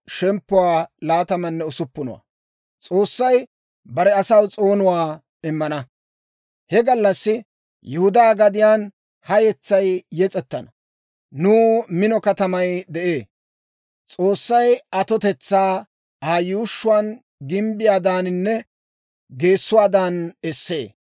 He gallassi Yihudaa gadiyaan ha yetsay yes'ettana. Nuw mino katamay de'ee; S'oossay atotetsaa Aa yuushshuwaan gimbbiyaadaaninne geessuwaadan essee.